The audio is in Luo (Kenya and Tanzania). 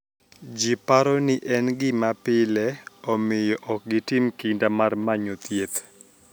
Ji paro nii eni gima pile, omiyo ok gitim kinida mar maniyo thieth.